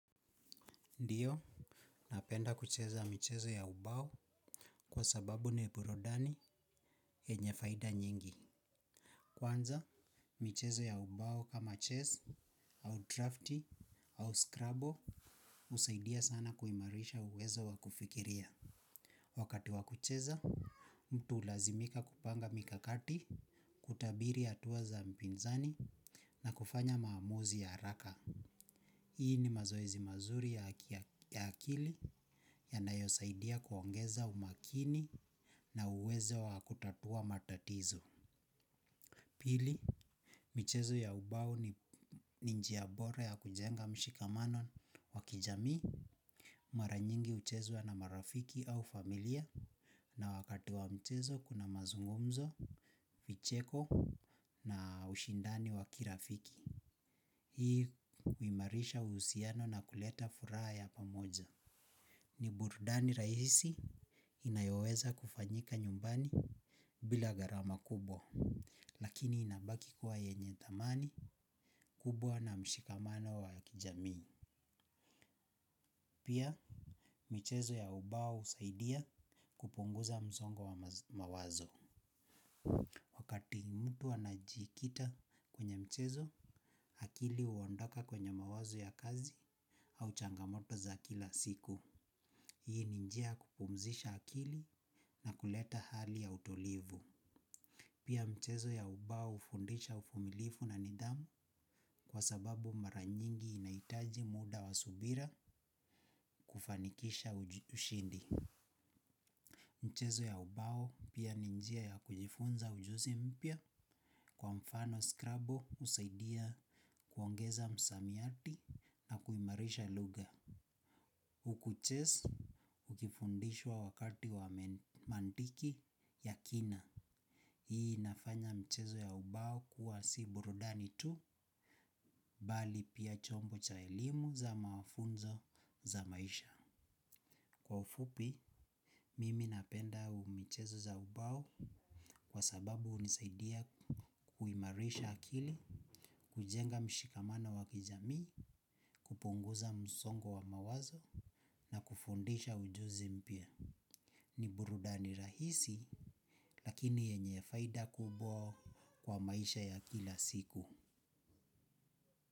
Ndiyo, napenda kucheza michezo ya ubao kwa sababu ni burudani yenye faida nyingi. Kwanza, mchezo ya ubao kama chess, au drafti, au scrabo usaidia sana kuimarisha uwezo wa kufikiria. Wakati wa kucheza mtu hulazimika kupanga mikakati kutabiri hatua za mpinzani na kufanya maamuzi ya haraka. Hii ni mazoezi mazuri ya akili yanayosaidia kuongeza umakini na uwezo wa kutatua matatizo. Pili, michezo ya ubao ni njia bora ya kujenga mshikamano wa kijamii, mara nyingi huchezwa na marafiki au familia na wakati wa mchezo kuna mazungumzo, vicheko na ushindani wa kirafiki. Hii huimarisha uhusiano na kuleta furaha ya pamoja. Ni burudani rahisi inayoweza kufanyika nyumbani bila gharama kubwa. Lakini inabaki kuwa yenye thamani kubwa na mshikamano wa kijamii. Pia, michezo ya ubao husaidia kupunguza msongo wa mawazo. Wakati mtu anajikita kwenye mchezo, akili huondoka kwenye mawazo ya kazi au changamoto za kila siku. Hii ni njia ya kupumzisha akili na kuleta hali ya utulivu pia michezo ya ubao hufundisha uvumilivu na nidhamu kwa sababu mara nyingi inahitaji muda wa subira kufanikisha ushindi. Michezo ya ubao pia ni njia ya kujifunza ujuzi mpya kwa mfano skrabu husaidia kuongeza msamiati na kuimarisha lugha huku chess ukifundishwa wakati wa mantiki ya kina hii inafanya michezo ya ubao kuwa si burudani tu bali pia chombo cha elimu za mafunzo za maisha. Kwa ufupi mimi napenda michezo za ubao kwa sababu hunisaidia kuimarisha akili kujenga mshikamano wa kijamii, kupungoza msongo wa mawazo na kufundisha ujuzi mpya. Ni burudani rahisi lakini yenye faida kubwa kwa maisha ya kila siku.